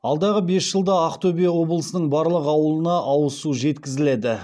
алдағы бес жылда ақтөбе облысының барлық ауылына ауыз су жеткізіледі